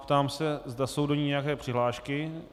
Ptám se, zda jsou do ní nějaké přihlášky.